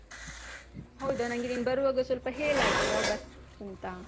ಹೌದ, ನನ್ಗೆ ನೀನ್ ಬರುವಾಗ ಸ್ವಲ್ಪ ಹೇಳಾಯ್ತಾ ಯಾವ bus ಅಂತ.